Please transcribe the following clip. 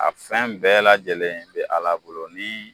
A fɛn bɛɛ lajɛlen bi Ala bolo ni